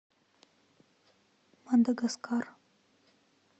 мадагаскар